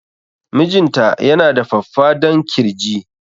Mijinta ya na da faffadan kirji